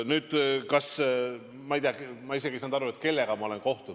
Nüüd, ma ei tea, ma isegi ei saanud aru küsimusest, et kellega ma olen kohtunud.